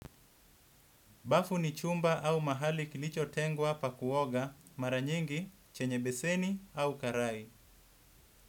Bafu ni chumba au mahali kilicho tengwa pa kuoga maranyengi, chenye beseni au karai.